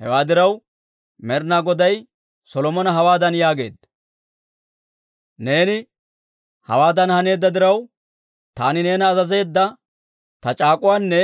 Hewaa diraw, Med'inaa Goday Solomona hawaadan yaageedda; «Neeni hawaadan haneedda diraw, taani neena azazeedda ta c'aak'uwaanne